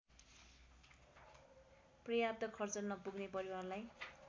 पर्याप्त खर्च नपुग्ने परिवारलाई